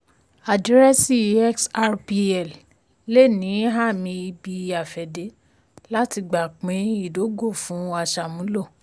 àdírẹ́sì xrpl le ní ààmì ibi-afẹ́dé láti gba pín ìdógò fún aṣàmúlò.